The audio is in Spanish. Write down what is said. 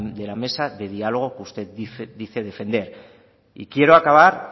de la mesa de diálogos que usted dice defender y quiero acabar